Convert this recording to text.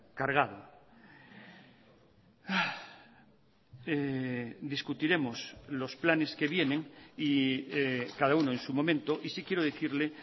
cargado discutiremos los planes que vienen y cada uno en su momento y sí quiero decirle